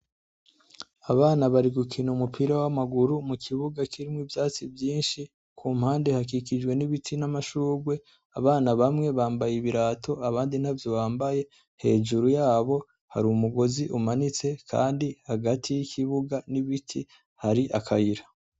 Abana bari gukina umupira w'amaguru mu kibuga kirimwo ivyatsi vyinshi, ku mpande hakikijwe n'ibiti n'amashurwe, abana bamwe bambaye ibirato abandi ntavyo bambaye, hejuru yabo hari umugozi umanitse, Kandi hagati y'ikibuga n'ibiti hari akayira.